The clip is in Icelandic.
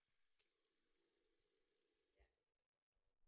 Hann réðst á Dóra.